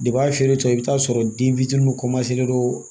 a feere tɔ i bɛ t'a sɔrɔ den fitiniw don